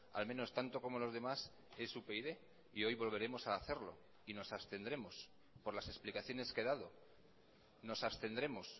al menos tanto como los demás es upyd y hoy volveremos a hacerlo y nos abstendremos por las explicaciones que he dado nos abstendremos